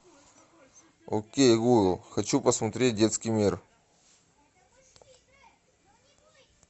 окей гугл хочу посмотреть детский мир